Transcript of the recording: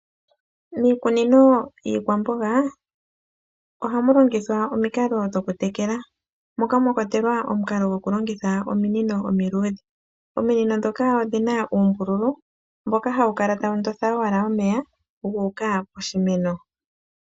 Miikunino yiikwamboga, ohamu longithwa omikalo dhoku tekela, moka mwa kwatelwa omukalo gokulongitha ominino omiluudhe. Ominino ndhoka odhina uumbululu mboka hawu kala tawu ndonda owala omeya, ga uka poshimeno.